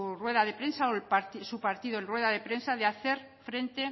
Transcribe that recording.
rueda de prensa o su partido en rueda de prensa de hacer frente